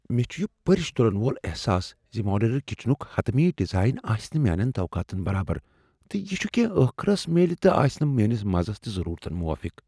مےٚ چھ یہ پرِش تُلن وول احساس زِ ماڈیولر کچنُک حطمی ڈیزائن آسہِ نہٕ میانین توقعاتن برابر ، تہٕ یہِ چُھ كینہہ ٲخرس میلہِ تہٕ آسہِ نہٕ میٲنِس مزس تہٕ ضرورتن موٲفِق۔